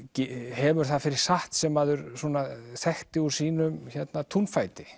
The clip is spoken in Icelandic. hefur það fyrir satt sem maður þekkti úr sínum túnfæti